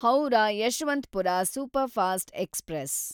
Howrah Yesvantpur superfast express